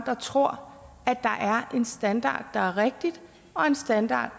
der tror at der er en standard der er rigtigt og en standard